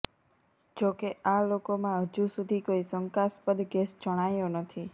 જોકે આ લોકોમાં હજુ સુધી કોઈ શંકાસ્પદ કેસ જણાયો નથી